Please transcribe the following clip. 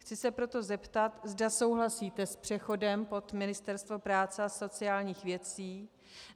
Chci se proto zeptat, zda souhlasíte s přechodem pod Ministerstvo práce a sociálních věcí.